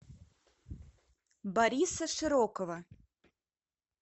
бориса широкова